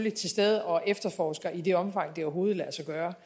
er til stede og efterforsker i det omfang det overhovedet lader sig gøre